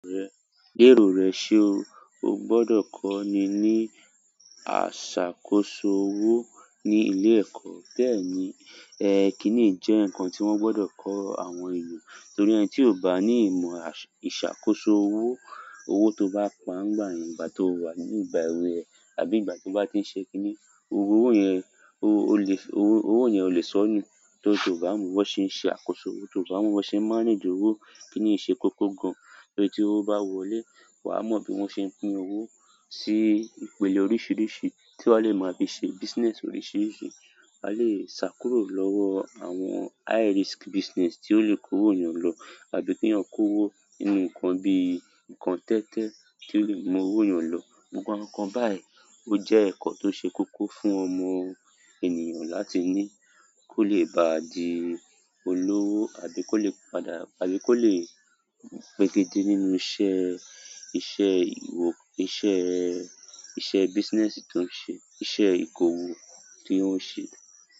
Gbé èrò rẹ ṣe o. O gbọdọ kọ́ni ní ìṣàkóso owó ní ilé ẹ̀kọ́. Bẹ́ẹ̀ ni, ẹkínní jẹ́ nǹkan tí wọ́n gbọdọ kọ àwọn ènìyàn, torí ẹni tí ò bá ní ìmọ̀ ìṣàkóso owó, owó tó bá pa ń gba ìgbà tí ó wà nígbà èwe ẹ̀ àbí ìgbà tí ó bá ti ń ṣe kínní, owó yẹn, o lè, owó yẹn o lè sọ́ni torí tí ó bá múon bi wọ́n ṣe nṣe àkósọ, ti ó bá mo bi wọn ṣe n mánage owo. Kí nní ṣe koko gan. Torí tí owó bá wọlé, wa mọ bí wọ́n ṣe pín owó sí ìpele oríṣiríṣi tí wọ́n lè máa fi ṣe business oríṣiríṣi. A lè sá kúrò lọ́wọ́ àwọn high risk business tí ó lè kó owó ènìyàn lọ àbí kí wọn kó owó nínú nǹkan bí nkan tẹ́tẹ́ tí ó lè mú owó èyàn lọ. Gbogbo àwọn nkan bayi o je nkan ti o se koko fún ọmọ ènìyàn láti ni ko le baa di olowo àbí kole iṣẹ́ business tí ó ń ṣe, iṣẹ́ ìkọ̀wo tí ó ń ṣe.